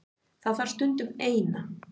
Það þarf stundum. Eina.